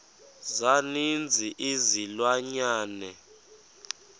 za ninzi izilwanyana